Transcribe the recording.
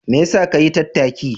Me yasa ka yi tattaki?